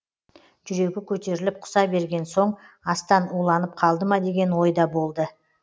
жүрегі көтеріліп құса берген соң астан уланып қалды ма деген де ой болды